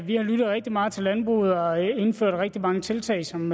vi har lyttet rigtig meget til landbruget og indført rigtig mange tiltag som